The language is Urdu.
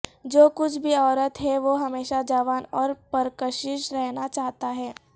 جو کچھ بھی عورت ہے وہ ہمیشہ جوان اور پرکشش رہنا چاہتا ہے